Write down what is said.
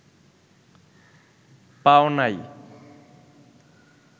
পাও নাই